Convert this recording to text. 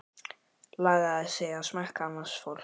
Lagaðir þig að smekk annars fólks.